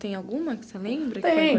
Tem alguma que você lembra? Tem!